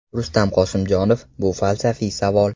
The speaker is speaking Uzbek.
Rustam Qosimjonov: Bu falsafiy savol.